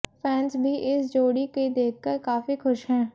fans भी इस जोड़ी के देखकर काफी खुश हैं